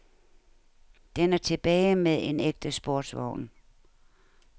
Den er tilbage med en ægte sportsvogn.